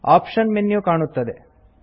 option menu ಕಾಣುತ್ತದೆ